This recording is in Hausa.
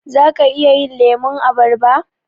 Zaka iya yin lemun abarba?